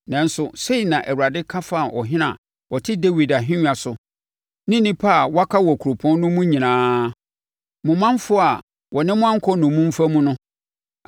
nanso, sei na Awurade ka fa ɔhene a ɔte Dawid ahennwa so ne nnipa a wɔaka wɔ kuropɔn no mu nyinaa, mo manfoɔ a wɔne mo ankɔ nnommumfa mu no,